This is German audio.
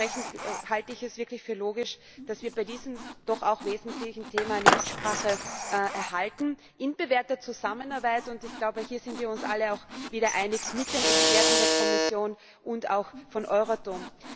Dementsprechend halte ich es wirklich für logisch, dass wir bei diesem doch auch wesentlichen Thema eine Mitsprache erhalten in bewährter Zusammenarbeit ich glaube, hier sind wir uns alle auch wieder einig mit den Experten der Kommission und auch von Euratom.